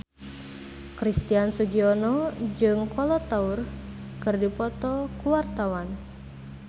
Christian Sugiono jeung Kolo Taure keur dipoto ku wartawan